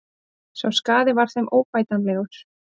Sá skaði var þeim óbætanlegur.